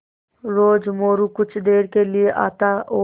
रोज़ मोरू कुछ देर के लिये आता और